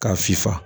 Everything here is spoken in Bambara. K'a sifa